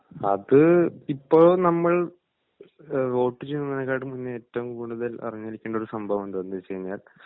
അത് ഇപ്പോ നമ്മൾ ഏഹ് വോട്ട് ചെയ്യുന്നതിനേക്കാട്ടിൽ മുന്നേ ഏറ്റവും കൂടുതൽ അറിഞ്ഞിരിക്കേണ്ട ഒരു സംഭവമുണ്ട് അതെന്താന്ന് വെച്ചു കഴിഞ്ഞാൽ